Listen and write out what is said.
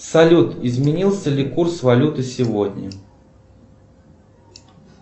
салют изменился ли курс валюты сегодня